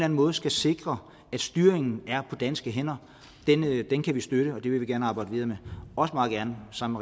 en måde skal sikre at styringen er på danske hænder kan vi støtte og det vil vi gerne arbejde videre også meget gerne sammen